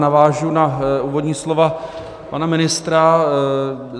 Navážu na úvodní slova pana ministra.